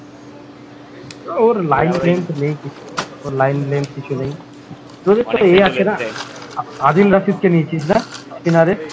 ওর line length নেই কিছু ওর line length কিছু নেই আদিল রাশিদ কে নিয়েছিস না spinner